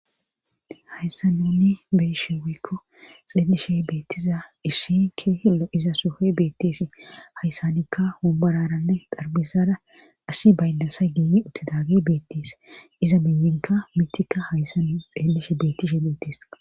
Hayssanunni beeshe wikko xeelishe beettiza issi ke lo7izs sohoyi beetteesi hayssanikka hombararanne darbisada asi baynnasa giimi uttidage beettis iza miyinka mittikka hayssanu xeellishe beettishe dettes.